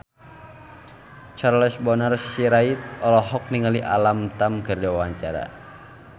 Charles Bonar Sirait olohok ningali Alam Tam keur diwawancara